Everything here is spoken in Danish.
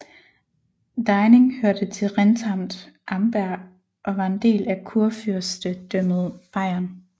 Deining hørte til Rentamt Amberg og var en del af Kurfyrstedømmet Bayern